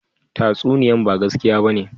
Tatsuniyan ba gaskiya ba ne?